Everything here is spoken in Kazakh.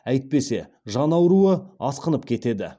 әйтпесе жан ауруы асқынып кетеді